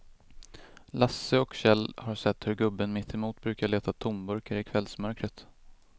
Lasse och Kjell har sett hur gubben mittemot brukar leta tomburkar i kvällsmörkret.